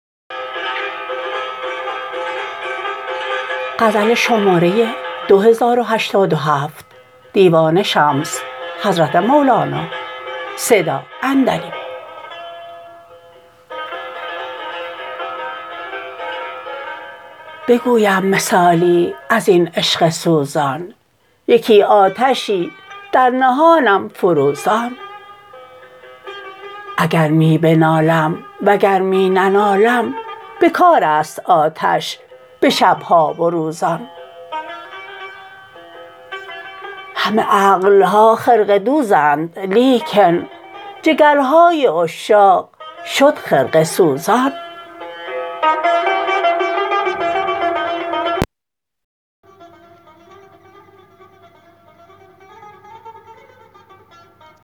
بگویم مثالی از این عشق سوزان یکی آتشی در نهانم فروزان اگر می بنالم وگر می ننالم به کار است آتش به شب ها و روزان همه عقل ها خرقه دوزند لیکن جگرهای عشاق شد خرقه سوزان